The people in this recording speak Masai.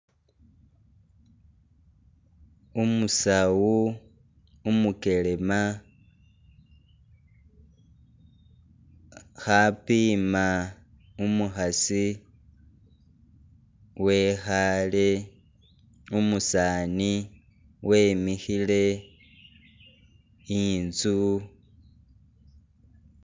Umusawu, umugelema khapiima umukhasi wekhale umusani wemikhile inzu.